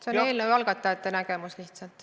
See on eelnõu algatajate nägemus lihtsalt.